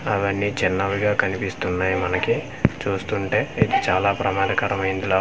అవన్నీ చిన్నవిగా కనిపిస్తున్నాయి మనకి చూస్తుంటే ఇది చాలా ప్రమాదకరమైందిలా వుంది.